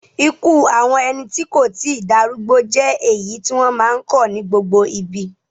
Ikú àwọn ẹni tí kò tí darúgbó jẹ́ èyí tí wọ́n máa ń kọ̀ ní gbogbo ibi.